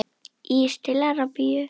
Ís til Arabíu?